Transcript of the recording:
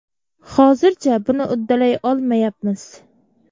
Hozircha buni uddalay olmayapmiz.